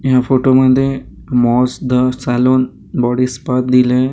या फोटो मध्ये moss the salon body spa दिलंय.